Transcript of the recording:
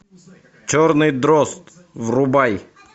черный дрозд врубай